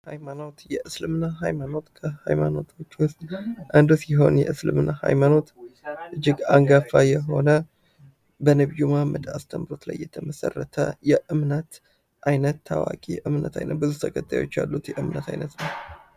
ሀይማኖት የእስልምና ሃይማኖት ከሀይማኖቶች ውስጥ አንዱ ሲሆን የእስልምና ሃይማኖት እጅግ አንጋፋ የሆነ በነቢዩ መሐመድ አስተምህሮት ላይ የተመሠረተ የእምነት ታዋቂ የእምነት አይነት ዓይነት ብዙ ተከታዮች ያሉት የእምነት አይነት ነው።